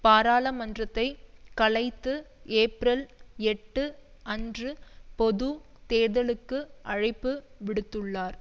பாராளுமன்றத்தை கலைத்து ஏப்பிரல் எட்டு அன்று பொது தேர்தலுக்கு அழைப்பு விடுத்துள்ளார்